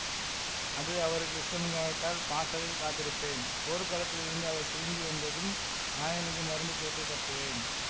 அது அவருக்கு இஷ்டமில்லாவிட்டால் பாசறையில் காத்திருப்பேன் போர்க்களத்திலிருந்து அவர் திரும்பி வந்ததும் காயங்களுக்கு மருந்து போட்டு கட்டுவேன்